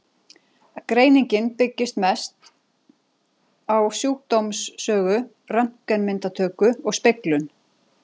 Greiningin byggist mest á sjúkdómssögu, röntgenmyndatöku og speglun.